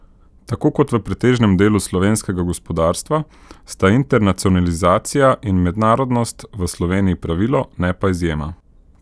Tako kot v pretežnem delu slovenskega gospodarstva sta internacionalizacija in mednarodnost v Sloveniji pravilo, ne pa izjema.